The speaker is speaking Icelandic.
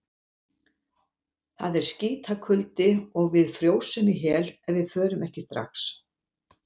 Það er skítakuldi og við frjósum í hel ef við förum ekki strax.